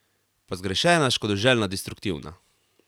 Pa zgrešena, škodoželjna, destruktivna.